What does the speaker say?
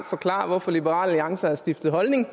forklare hvorfor liberal alliance har skiftet holdning